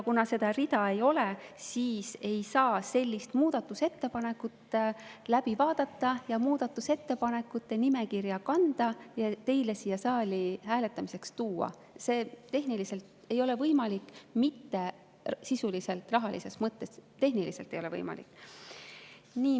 Kuna seda rida ei ole, siis ei saa sellist muudatusettepanekut läbi vaadata, muudatusettepanekute nimekirja kanda ja teile siia saali hääletamiseks tuua, see ei ole tehniliselt võimalik – mitte sisuliselt, rahalises mõttes, vaid tehniliselt ei ole võimalik.